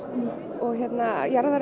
og